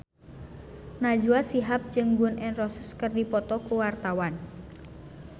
Najwa Shihab jeung Gun N Roses keur dipoto ku wartawan